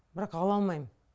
бірақ ала алмаймын